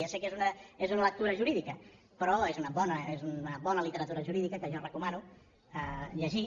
ja sé que és una lectura jurídica però és una bona literatura jurídica que jo recomano llegir